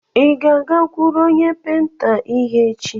Ị ga-agakụrụ onye penta ihe echi?